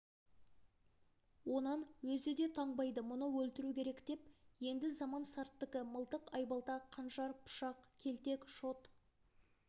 онан өзі де танбайды мұны өлтіру керек енді заман сарттікі мылтық айбалта қанжар пышақ келтек шот